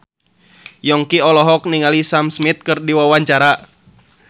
Yongki olohok ningali Sam Smith keur diwawancara